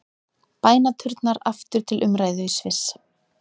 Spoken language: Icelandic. Bænaturnar aftur til umræðu í Sviss